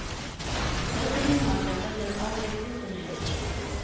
Dóttirin Marga verður ágæt vinkona hennar.